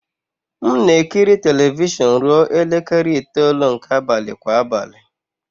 M na-ekiri telivishọn ruo elekere itoolu nke abalị kwa abalị.